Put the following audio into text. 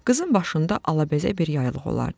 Qızın başında alabəzək bir yaylıq olardı.